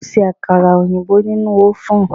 O ṣe àkàrà òyìnbó nínú ọ́vùn.